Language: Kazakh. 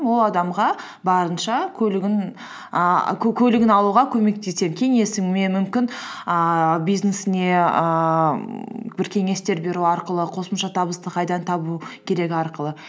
ол адамға барынша көлігін алуға көмектесемін кеңесіммен мүмкін ііі бизнесіне ііі бір кеңестер беру арқылы қосымша табысты қайда табу керек арқылы